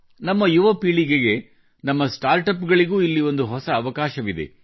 ನಮ್ಮ ಯುವ ಪೀಳಿಗೆಗೆ ನಮ್ಮ ಸ್ಟಾರ್ಟ್ ಅಪ್ಗಳಿಗೂ ಇಲ್ಲಿ ಒಂದು ಹೊಸ ಅವಕಾಶವಿದೆ